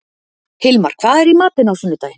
Hilmar, hvað er í matinn á sunnudaginn?